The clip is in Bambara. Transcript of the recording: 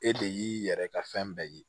E de y'i yɛrɛ ka fɛn bɛɛ ye